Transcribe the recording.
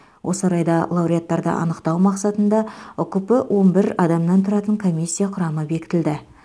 осы орайда лауреаттарды анықтау мақсатында ұкп он бір адамнан тұратын комиссия құрамы бекітілді